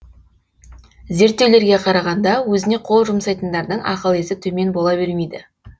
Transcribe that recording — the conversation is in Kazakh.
зерттеулерге қарағанда өзіне қол жұмсайтындардың ақыл есі төмен бола бермейді